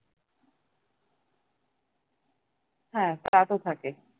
হ্যা তা তো থাকে